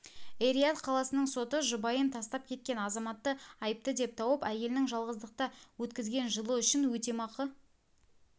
эр-рияд қаласының соты жұбайын тастап кеткен азаматты айыпты деп тауып әйелінің жалғыздықта өткізген жылы үшін өтемақы